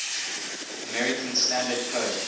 american standard code